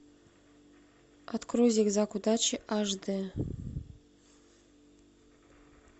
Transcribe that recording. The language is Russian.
открой зигзаг удачи аш дэ